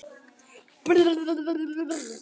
Hvar var Lúlli?